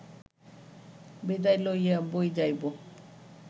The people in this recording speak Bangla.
বিদায় লইয়া বৈ-যাইব